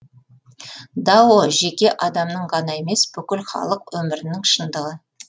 дао жеке адамның ғана емес бүкіл халық өмірінің шындығы